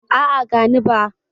A'a, gani ba.